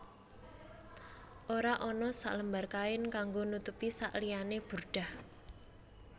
Ora ana selembar kain kanggo nutupi sakliyane burdah